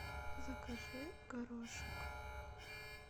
закажи горошек